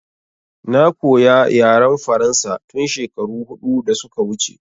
Na koya yaren faransa tun shekaru huɗu da suka wuce